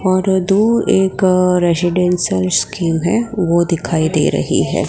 और दूर एक रेजिडेंशल स्कीम है वो दिखाई दे रही है।